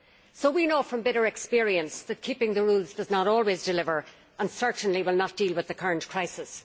So we know from bitter experience that keeping to the rules does not always deliver and certainly will not deal with the current crisis.